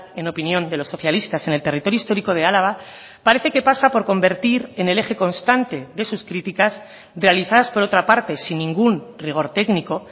en opinión de los socialistas en el territorio histórico de álava parece que pasa por convertir en el eje constante de sus críticas realizadas por otra parte sin ningún rigor técnico